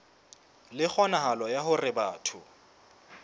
le kgonahalo ya hore batho